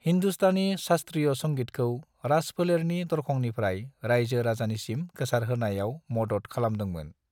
हिंदुस्तानी शास्त्रीय संगीतखौ राजफोलेरनि दरखंनिफ्राइ राइजो-राजानिसिम गोसारहोनायाव मदद खालामदोंमोन।